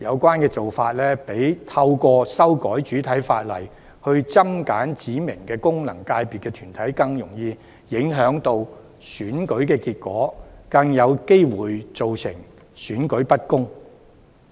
這些做法較透過修改主體法例來增減指明的功能界別團體，更容易影響選舉結果，亦更有機會造成選舉不公的情況。